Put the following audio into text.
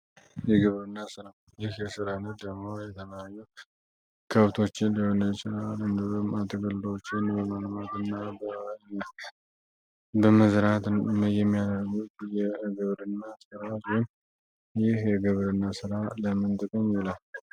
ግብርና ይህ የስራ አይነት ደግሞ የተመያኙት ከብቶችን ሊሆነ የችራል እንድበም አትገልሎችን በማንማት እና በባነት በመዝራት የሚያደርጉት ግብርና ስራ ይውን ይህ የግብር እና ሥራ ለምንጥቅኝ ይላል፡፡